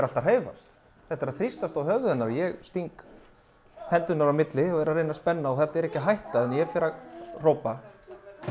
allt að hreyfast þetta er að þrýstast að höfði hennar ég sting höndunum á milli og reyni að spenna og þetta er ekki að hætta þannig að ég fer að hrópa